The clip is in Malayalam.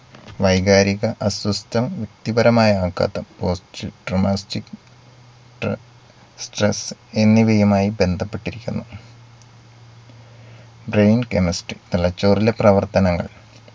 വൈകാരിക അസ്വസ്ഥം വ്യക്തിപരമായ ആഘാതം post dramastic stre stress എന്നിവയുമായി ബന്ധപ്പെട്ടിരിക്കുന്നു brain chemistry തലച്ചോറിലെ പ്രവർത്തനങ്ങൾ